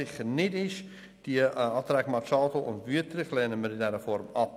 Die Anträge Machado und Wüthrich lehnen wir aber in aller Form ab.